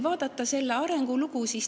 Vaatame arengulugu.